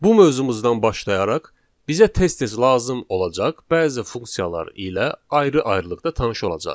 Bu mövzumuzdan başlayaraq bizə tez-tez lazım olacaq bəzi funksiyalar ilə ayrı-ayrılıqda tanış olacağıq.